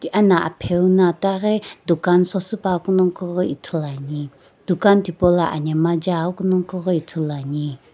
ana apgeu na ithaghi dukan sosiipa ghoghi Ithulu ane dukan thi po lo anamgha jae aghu nagjo ghi ithulu ane.